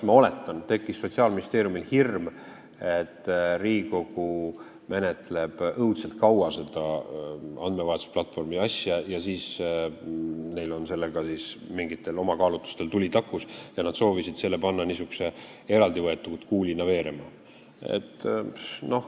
Ma oletan, et Sotsiaalministeeriumil tekkis hirm, et Riigikogu menetleb seda andmevahetusplatvormi asja õudselt kaua, neil aga on sellega mingitel oma kaalutlustel tuli takus ja nad soovisid panna selle niisuguse eraldi kuulina veerema.